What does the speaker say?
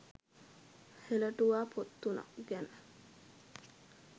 හෙළටුවා පොත් තුනක් ගැන